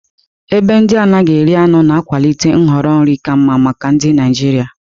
Ebe ndị anaghị eri anụ na-akwalite nhọrọ nri ka mma maka ndị Naijiria.